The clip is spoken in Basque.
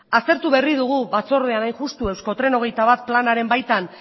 aztertu berri dugu batzordean hain justu euskotren hogeita bat planaren baitan